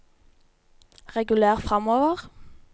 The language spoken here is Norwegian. reguler framover